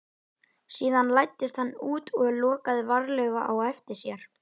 Síðan læddist hann út og lokaði varlega á eftir sér.